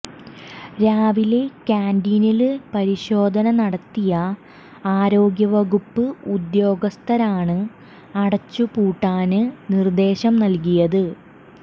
രാവിലെ കാന്റീനില് പരിശോധന നടത്തിയ ആരോഗ്യവകുപ്പ് ഉദ്യോഗസ്ഥരാണ് അടച്ചുപൂട്ടാന് നിര്ദേശം നല്കിയത്